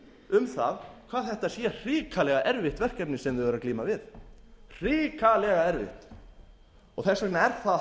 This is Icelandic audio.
um það hvað þetta sé hrikalega erfitt verkefni sem þau eru að glíma við þess vegna